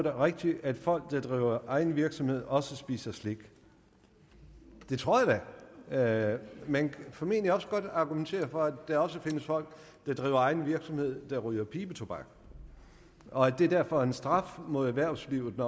er rigtigt at folk der driver egen virksomhed også spiser slik det tror jeg da man kan formentlig også godt argumentere for at der også findes folk der driver egen virksomhed der ryger pibetobak og at det derfor er en straf mod erhvervslivet at